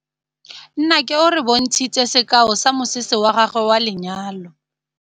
Nnake o re bontshitse sekaô sa mosese wa gagwe wa lenyalo.